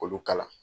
K'olu kala